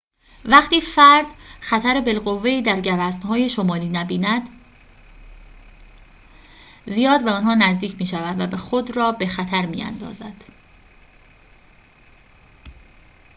وقتی فرد خطر بالقوه‌ای در گوزن‌های شمالی نبیند زیاد به آنها نزدیک می‌شود و خود را به خطر می‌اندازد